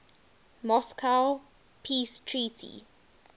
moscow peace treaty